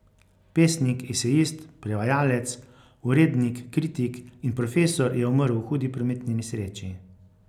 Pesnik, esejist, prevajalec, urednik, kritik in profesor je umrl v hudi prometni nesreči.